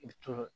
I to